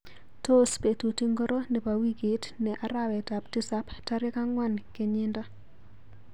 Tos betut ingoro nebo wikit ne arawetap tisap tarik angwan kenyindo?